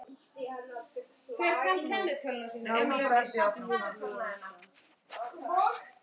Hulda spyr Loga